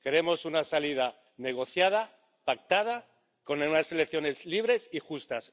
Queremos una salida negociada, pactada, con unas elecciones libres y justas.